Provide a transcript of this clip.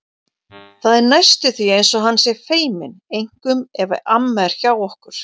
Það er næstum því eins og hann sé feiminn, einkum ef amma er hjá okkur.